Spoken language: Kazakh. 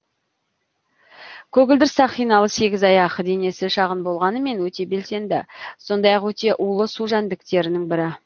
көгілдір сақиналы сегізаяқ денесі шағын болғанымен өте белсенді сондай ақ өте улы су жәндіктерінің бірі